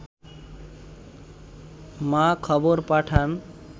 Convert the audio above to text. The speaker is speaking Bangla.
মা খবর পাঠান